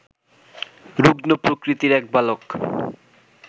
রুগ্ন প্রকৃতির এক বালক